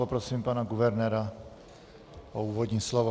Poprosím pana guvernéra o úvodní slovo.